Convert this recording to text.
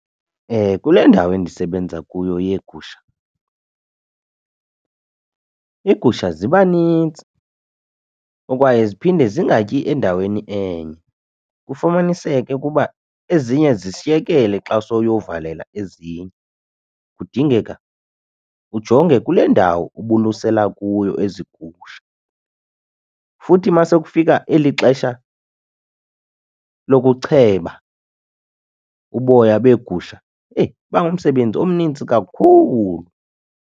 Kule ndawo endisebenza kuyo yeegusha, iigusha ziba nintsi ukwaye ziphinde zingatyi endaweni enye kufumaniseke ukuba ezinye zishiyekele xa sowuyovalela ezinye, kudingeka ujonge kule ndawo ubulusela kuyo ezi gusha. Futhi masekufika eli xesha lokucheba uboya beegusha eyi, iba ngumsebenzi omnintsi kakhulu.